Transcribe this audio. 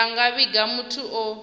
vha nga vhiga muthu o